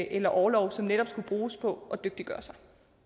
eller orlov som netop skulle bruges på at dygtiggøre sig